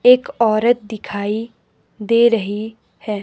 एक औरत दिखाई दे रही है।